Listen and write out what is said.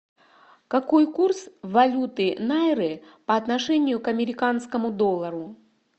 какой курс валюты найры по отношению к американскому доллару